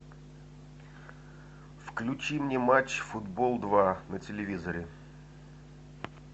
включи мне матч футбол два на телевизоре